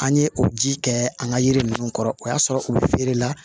An ye o ji kɛ an ka yiri ninnu kɔrɔ o y'a sɔrɔ u bɛ feere la